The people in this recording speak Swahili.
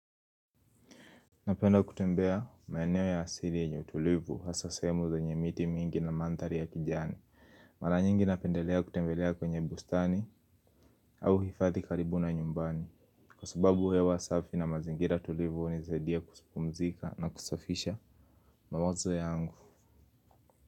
Napenda kutembea maeneo ya asili yenye utulivu hasa sehemu zenye miti mingi na mandhari ya kijani. Mara nyingi napendelea kutembelea kwenye bustani au hifadhi karibu na nyumbani. Kwa sababu hewa safi na mazingira tulivu hunisaidia kupumzika na kusafisha mawazo yangu.